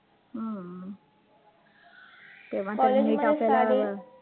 हम्म तेव्हा